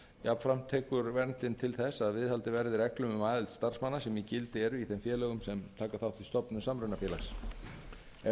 jafnframt tekur verndin til þess að viðhaldið verði reglum um aðild starfsmanna sem í gildi eru í þeim félögum sem taka þátt í stofnun samrunafélags ef